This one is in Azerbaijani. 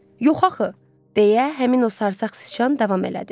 Yox axı, deyə həmin o sarsaq siçan davam elədi.